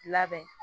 Labɛn